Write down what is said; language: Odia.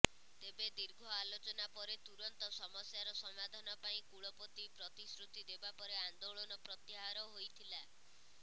ତେବେ ଦୀର୍ଘ ଆଲୋଚନା ପରେ ତୁରନ୍ତ ସମସ୍ୟାର ସମାଧାନ ପାଇଁ କୁଳପତି ପ୍ରତିଶ୍ରୁତି ଦେବାପରେ ଆନ୍ଦୋଳନ ପ୍ରତ୍ୟାହାର ହୋଇଥିଲା